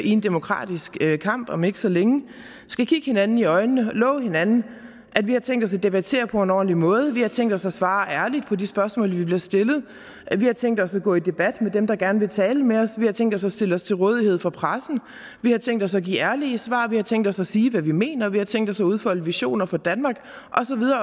en demokratisk kamp om ikke så længe skal kigge hinanden i øjnene og love hinanden at vi har tænkt os at debattere på en ordentlig måde at vi har tænkt os at svare ærligt på de spørgsmål vi bliver stillet at vi har tænkt os at gå i en debat med dem der gerne vil tale med os tænkt os at stille os til rådighed for pressen har tænkt os at give ærlige svar har tænkt os at sige hvad vi mener har tænkt os at udfolde visioner for danmark